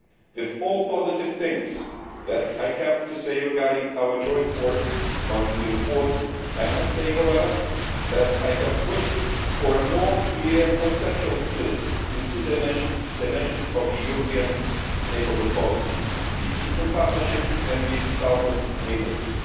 With all the positive things that I have to say regarding our joint work on the report, I must say, however, that I had wished for a more clear conceptual split into two dimensions of the European Neighbourhood Policy the Eastern Partnership and the Southern Neighbourhood.